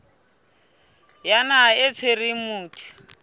ya naha e tshwereng motho